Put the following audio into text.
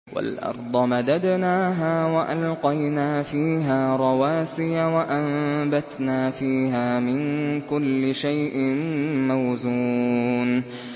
وَالْأَرْضَ مَدَدْنَاهَا وَأَلْقَيْنَا فِيهَا رَوَاسِيَ وَأَنبَتْنَا فِيهَا مِن كُلِّ شَيْءٍ مَّوْزُونٍ